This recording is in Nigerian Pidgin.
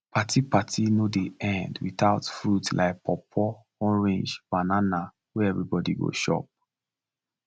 party party no dey end without fruit like pawpaw orange banana wey everybody go chop